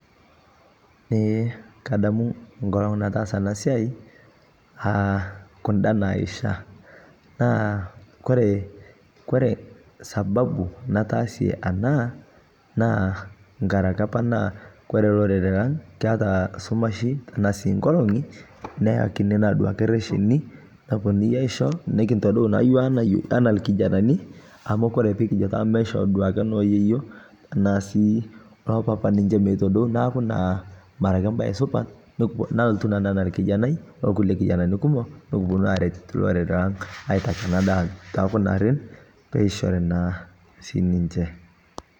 Eee kadamu enkolong nataasa ena siai aa kunda naisha, naa kore sababu nataasie anaa naa ngaraki apa naa kore lorere lang keata sumashi anaa sii inkolong'i neakini naa duake resheni, nepooni aisho, nikintodou naa duake yook anaa lkijanani amu kore pikijo duake meishoo noo yeiyo ana sii oo papa ninche meitodou naaku naa mara ake embaye supat, nalotu naa nanu anaa lkijanai olkule kijanani kumok nikiponu aaret lorere lang' aitaki ena daa too kuna garrin peishori naa sii ninche.